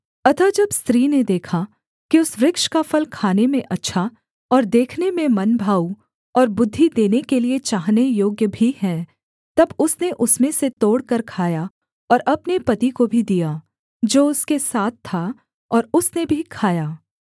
अतः जब स्त्री ने देखा कि उस वृक्ष का फल खाने में अच्छा और देखने में मनभाऊ और बुद्धि देने के लिये चाहने योग्य भी है तब उसने उसमें से तोड़कर खाया और अपने पति को भी दिया जो उसके साथ था और उसने भी खाया